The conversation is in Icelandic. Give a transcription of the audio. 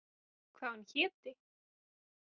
Hvað hún héti.